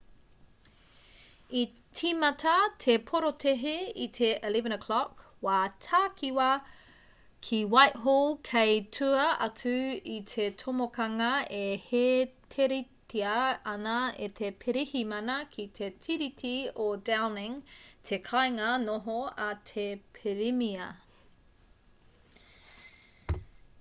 i tīmata te porotēhi i te 11:00 wā takiwā utc+1 ki whitehall kei tua atu i te tomokanga e hēteritia ana e te pirihimana ki te tiriti o downing te kāinga noho a te pirimia